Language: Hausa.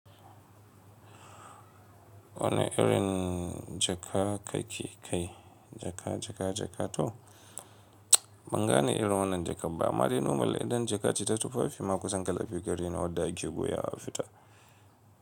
Wana irin jaka ka ke kai jaka, jaka, jaka to? Ban gane irin wannan jakan ba. Amma dai nomal idan jaka ce ta tufafi ma kusan ƙala biyu gare ni wadda ake goya a fita.